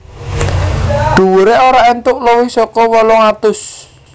Dhuwuré ora entuk luwih saka wolung atus